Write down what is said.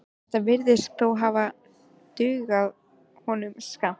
Þetta virðist þó hafa dugað honum skammt.